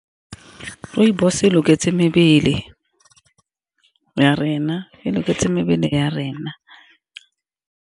Rooibos e loketseng mebele ya rena, e loketseng mebele ya rena.